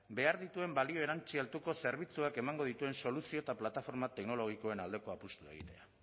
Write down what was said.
behar dituen balio erantsi altuko zerbitzuak emango dituen soluzio eta plataforma teknologikoen aldeko apustua egitea